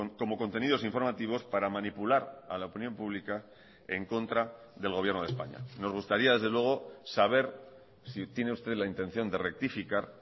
como contenidos informativos para manipular a la opinión pública en contra del gobierno de españa nos gustaría desde luego saber si tiene usted la intención de rectificar